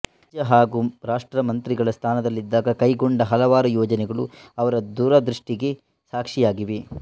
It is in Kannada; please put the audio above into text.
ರಾಜ್ಯ ಹಾಗೂ ರಾಷ್ಟ್ರದ ಮಂತ್ರಿ ಸ್ಥಾನದಲ್ಲಿದ್ದಾಗ ಕೈಗೊಂಡ ಹಲವಾರು ಯೋಜನೆಗಳು ಅವರ ದೂರದೃಷ್ಟಿಗೆ ಸಾಕ್ಷಿಯಾಗಿವೆ